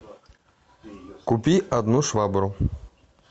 купи одну швабру